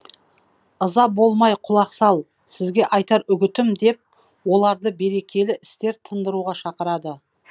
ыза болмай құлақ сал сізге айтар үгітім деп оларды берекелі істер тындыруға шақырады